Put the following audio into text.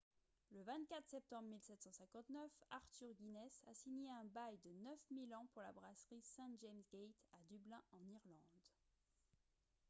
le 24 septembre 1759 arthur guinness a signé un bail de 9 000 ans pour la brasserie st james' gate à dublin en irlande